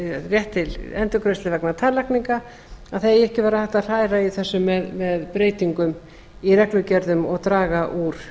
rétt til endurgreiðslu vegna tannlækninga að það eigi ekki að vera hægt að hræra í þessu með reglugerðum og draga úr